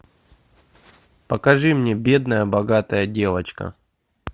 покажи мне бедная богатая девочка